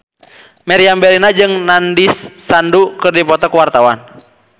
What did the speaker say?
Meriam Bellina jeung Nandish Sandhu keur dipoto ku wartawan